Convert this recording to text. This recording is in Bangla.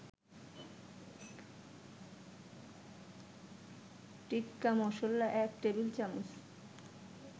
টিক্কা-মসলা ১ টেবিল-চামচ